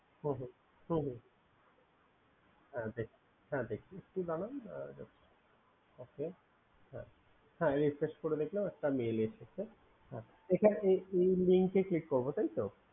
হুঁ হুঁ দেখছি কি বানান আমি refresh করে দেখলাম একটা mail এসেছে এবার এই Link ক্লিক করবো তাইতো